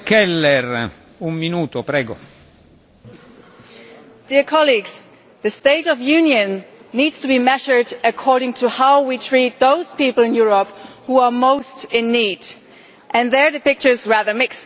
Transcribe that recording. Mr President, the State of the Union needs to be measured according to how we treat those people in Europe who are most in need and there the picture is rather mixed.